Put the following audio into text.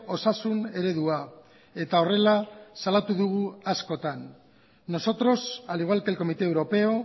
osasun eredua eta horrela salatu dugu askotan nosotros al igual que el comité europeo